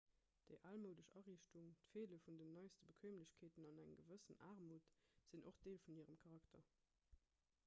déi almoudesch ariichtung d'feele vun den neiste bequeemlechkeeten an eng gewëss aarmut sinn och deel vun hirem charakter